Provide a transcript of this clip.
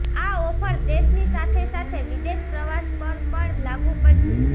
આ ઓફર દેશની સાથે સાથે વિદેશ પ્રવાસ પર પણ લાગુ પડશે